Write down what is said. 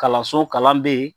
Kalanso kalan bɛ yen.